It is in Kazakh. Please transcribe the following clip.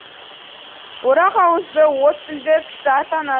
орақ ауызды от тілді кісі атанады